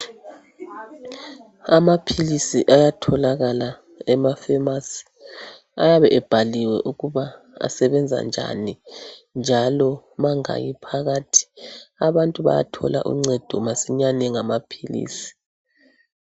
Amaphilisi ayatholakala emafemasi ayabe ebhaliwe ukuba asebenza njani njalo mangaki phakathi. Abantu bayathola uncedo masinyane ngamaphilisi